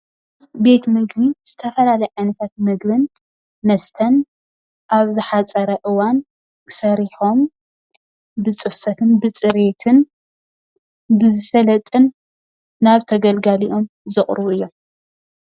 ቤት ምግቢ ዝተፈላለየ ዓይነታት ምግብን መስተን አብ ዝሓፀረ እዋን ሰሪሖም ብፅፈትን ብፅሬትን ብዝሰልጥን ናብ ተገልጋሊኦም ዘቅርቡ እዮም።